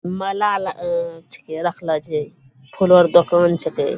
माला अला अ छे रखलए छे फूलो ओर के दोकान छेकै ।